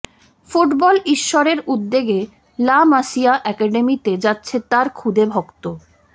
football ঈশ্বরের উদ্যোগে La Masia অ্যাকাডেমিতে যাচ্ছে তাঁর খুদে ভক্ত